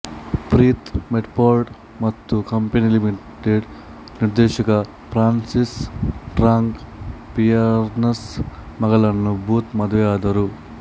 Preeth Metford ಮತ್ತು company ಲಿಮಿಟೆಡ್ನ ನಿರ್ದೇಶಕ ಫ್ರಾನ್ಸಿಸ್ ಟ್ರಾಂಗ್ ಪಿಯರ್ಸ್ನ ಮಗಳನ್ನು ಬೂತ್ ಮದುವೆಯಾದರು